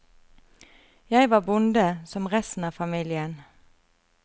Jeg var bonde, som resten av familien.